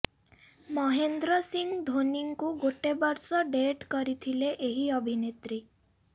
ମହେନ୍ଦ୍ର ସିଂହ ଧୋନୀଙ୍କୁ ଗୋଟେ ବର୍ଷ ଡେଟ କରିଥିଲେ ଏହି ଅଭିନେତ୍ରୀ